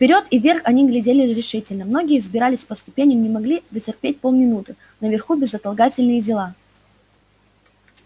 вперёд и вверх они глядели решительно многие взбирались по ступеням не могли дотерпеть полминуты наверху безотлагательные дела